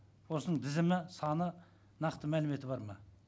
осының тізімі саны нақты мәліметі бар ма